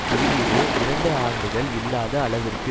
குறியீடு இரண்டு ஆண்டுகள் இல்லாத அளவிற்கு